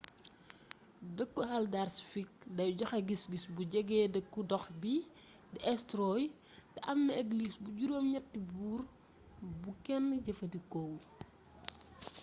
deekku haldarsvík day joxé gisgis bu jégé deeku ndox bi di eysturoy té amna églis bu jurom gnetti boor bu kénn jeefeendikowul